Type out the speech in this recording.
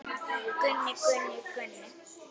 Gunni, Gunni, Gunni.